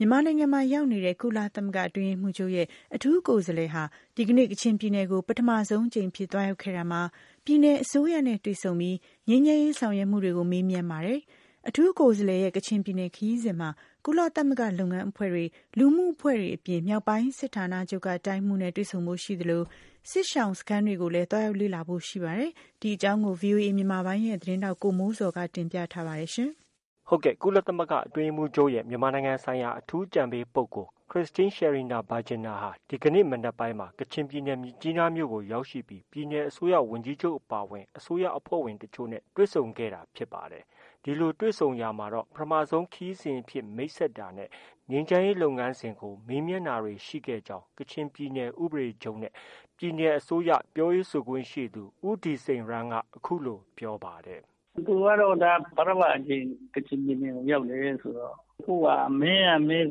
မြန်မာနိုင်ငံမှာ ရောက်နေတဲ့ ကုလသမဂ္ဂ အတွင်းရေးမှူးချုပ်ရဲ့ အထူးကိုယ်စားလှယ်ဟာ ဒီကနေ့ ကချင်ပြည်နယ်ကို ပထမဆုံးအကြိမ်အဖြစ်သွားရောက်ခဲ့ရာမှာ ပြည်နယ်အစိုးရနဲ့တွေ့ဆုံပြီး ငြိမ်းချမ်းရေးဆောင်ရွက်မှုတွေကို မေးမြန်းပါတယ်။ အထူးကိုယ်စားလှယ်ရဲ့ ကချင်ပြည်နယ်ခရီးစဉ်မှာ ကုလသမဂ္ဂလုပ်ငန်းအဖွဲ့တွေ၊ လူမှုအဖွဲ့တွေအပြင် မြောက်ပိုင်းစစ်ဌာနချုပ်က တိုင်းမှုးနဲ့ တွေ့ဆုံဖို့ရှိသလို စစ်ရှောင်စခန်းတွေကိုလည်း သွားရောက်လေ့လာဖို့ ရှိနေပါတယ်။ ဒီသတင်းကိုတော့ ဗွီအိုအေမြန်မာပိုင်းရဲ့ သတင်းထောက် ကိုမိုးဇော်က တင်ပြထားပါတယ်။ ကုလသမဂ္ဂအတွင်းရေးမှူးချုပ်ရဲ့ မြန်မာနိုင်ငံဆိုင်ရာ အထူးအကြံပေးပုဂ္ဂိုလ် Christine Schraner Burgener ဟာ ဒီကနေ့ မနက်ပိုင်းမှာ ကချင်ပြည်နယ်မြစ်ကြီးနားမြို့ကို ရောက်ရှိပြီး ပြည်နယ်အစိုးရဝန်ကြီးချုပ်အပါအဝင် အစိုးရအဖွဲ့ဝင်တချို့နဲ့ တွေ့ဆုံခဲ့တာဖြစ်ပါတယ်။ ဒီလိုတွေ့ဆုံရာမှာတော့ ပထမဆုံးခရီးစဉ်အဖြစ် မိတ်ဆက်တာနဲ့ ငြိမ်းချမ်းရေးလုပ်ငန်းစဉ်ကိုမေးမြန်းတာတွေ ရှိခဲ့ကြောင်း ကချင်ပြည်နယ် ဥပဒေချုပ်နဲ့ ပြည်နယ်အစိုးရပြောခွင့်ရသူ ဦးဒီဆိန်ရမ်းက အခုလိုပြောပါတယ်။ “ သူကတော့ ဒါ ပထမအကြိမ် ကချင်ပြည်နယ်ကို ရောက်တယ်ဆိုတော့ မေးရမယ့်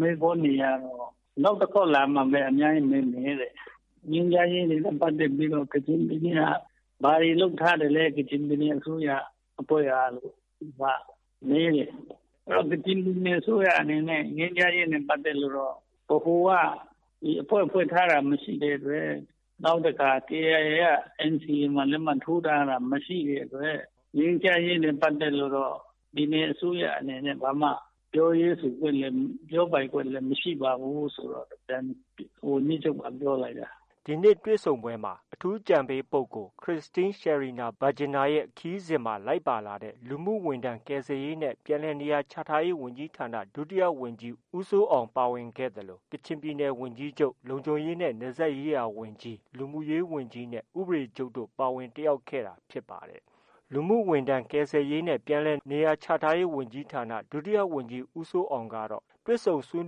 မေးခွန်းတွေကတော့ နောက်တခေါက်လာမှပဲ အများကြီးမေးမယ်တဲ့။ ငြိမ်းချမ်းရေးလုပ်ငန်းတွေနဲ့ပတ်သက်ပြီးတော့ ကချင်ပြည်နယ်က ဘာတွေ လုပ်ထားသလဲ ကချင်ပြည်နယ်အစိုးရအဖွဲ့ကလို့ သူက မေးတယ်။ ကချင်ပြည်နယ် အစိုးရအနေနဲ့ ငြိမ်းချမ်းရေးနဲ့ ပတ်သက်လို့တော့ ဗဟိုက အဖွဲ့ဖွဲ့ထားတာ မရှိတဲ့ အတွက် နောက်တခါ KIA က NCA မှာ လက်မှတ်ထိုးထားတာ မရှိတဲ့အတွက် ငြိမ်းချမ်းရေးနဲ့ပတ်သက်လို့တော့ ပြည်နယ်အစိုးရအနေနဲ့ ဘာမှ ပြောပိုင်ခွင့်လည်း မရှိပါဘူးဆိုပြီးတော့ ဝန်ကြီးချုပ်က ပြောလိုက်တယ်။ အဲဒါပါဘဲလေ။” ဒီနေ့ တွေ့ဆုံပွဲမှာ အထူးအကြံပေးပုဂ္ဂိုလ် Christine Schraner Burgener ခရီးစဉ်မှာ လိုက်ပါလာတဲ့ လူမှုဝန်ထမ်း ကယ်ဆယ်ရေးနှင့် ပြန်လည်နေရာချထားရေးဝန်ကြီးဌာန ဒုတိယ ဝန်ကြီး ဦးစိုးအောင် ပါဝင်ခဲ့သလို ကချင်ပြည်နယ်ဝန်ကြီးချုပ် ၊ လုံခြုံရေးနဲ့နယ်စပ်ရေးရာဝန်ကြီး၊ လူမှုရေးဝန်ကြီးနဲ့ ဥပဒေချုပ်တို့ ပါဝင်တက်ရောက်ခဲ့တာဖြစ်ပါတယ်။ လူမှုဝန်ထမ်း ကယ်ဆယ်ရေးနှင့် ပြန်လည်နေရာချထားရေး ဒုတိယ ဝန်ကြီး ဦးစိုးအောင်ကတော့ တွေ့ဆုံဆွေး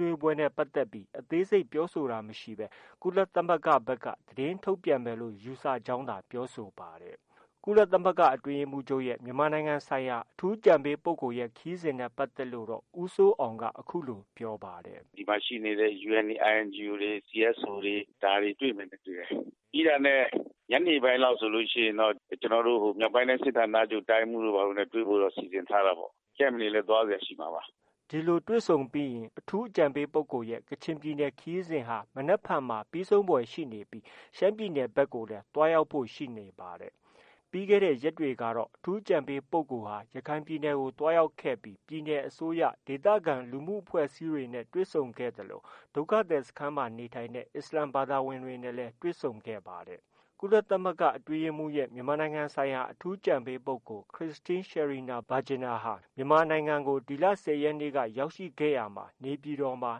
နွေးပွဲနဲ့ပတ်သက်ပြီး အသေးစိတ်ပြောဆိုတာမရှိဘဲ ကုလသမဂ္ဂဘက်က သတင်းထုတ်ပြန်မယ်လို့ ယူဆကြောင်းသာပြောဆိုပါတယ်။ ကုလသမဂ္ဂအတွင်းရေးမှူးချုပ်ရဲ့ မြန်မာနိုင်ငံဆိုင်ရာ အထူးအကြံပေးပုဂ္ဂိုလ်ရဲ့ ခရီးစဉ်နဲ့ပတ်သက်လို့တော့ ဦးစိုးအောင်က အခုလို ပြောပါတယ်။ “ ဒီအစီအစဉ်ပြီးရင်တော့ သူတို့ အဖွဲ့အစည်းတွေနဲ့ သူတို့ တွေ့မယ်နဲ့ တူပါတယ်။ ဒီမှာရှိနေတဲ့ UN ၊ INGO တွေ၊ CSO တွေ ဒါတွေ တွေ့မယ်နဲ့ တူတယ်။ ပြီးတာနဲ့ ညနေပိုင်းလောက် ဆိုရင်တော့ မြောက်ပိုင်းတိုင်း စစ်ဌာနချုပ် တိုင်းမှုးတို့ ဘာတို့နဲ့တွေဖို့တော့ စီစဉ်ထားတယ်။ camp တွေလည်း သွားစရာရှိမှာပါ။” ဒီလို တွေ့ဆုံပြီးရင် အထူးအကြံပေးပုဂ္ဂိုလ်ရဲ့ ကချင်ပြည်နယ်ခရီးစဉ်ဟာ မနက်ဖန်မှာ ပြီးဆုံးဖွယ်ရှိနေပြီး ရှမ်းပြည်နယ်ဘက်ကိုလည်း သွားရောက်ဖို့ ရှိနေပါတယ်။ ပြီးခဲ့တဲ့ ရက်တွေကတော့ အထူးအကြံပေးပုဂ္ဂိုလ်ဟာ ရခိုင်ပြည်နယ်ကို သွားရောက်ခဲ့ပြီး ပြည်နယ်အစိုးရ၊ ဒေသခံလူမှုအဖွဲ့အစည်းတွေနဲ့ တွေ့ဆုံခဲ့သလို ဒုက္ခသည်စခန်းမှာနေထိုင်နေတဲ့ အစ္စလာမ်ဘာသာဝင်တွေနဲ့လည်း တွေ့ဆုံခဲ့ပါတယ်။ ကုလသမဂ္ဂအတွင်းရေးမှူးချုပ်ရဲ့ မြန်မာနိုင်ငံဆိုင်ရာ အထူးအကြံပေးပုဂ္ဂိုလ် Christine Schraner Burgener ဟာ မြန်မာနိုင်ငံကို ဒီလ ၁၀ရက်နေ့က ရောက်ရှိခဲ့ရာမှာ နေပြည်တော်မှာ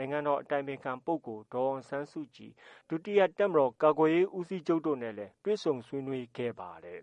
နိုင်ငံတော်အတိုင်ပင်ခံပုဂ္ဂိုလ်ဒေါ်အောင်ဆန်းစုကြည်၊ ဒုတိယ တပ်မတော် ကာကွယ်ရေးဦးစီးချုပ်တို့နဲ့လည်း တွေ့ဆုံဆွေးနွေးခဲ့ပါတယ်